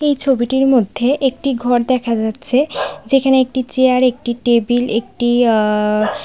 এই ছবিটির মধ্যে একটি ঘর দেখা যাচ্ছে যেখানে একটি চেয়ার একটি টেবিল একটি আ--